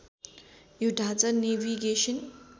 यो ढाँचा नेभिगेसन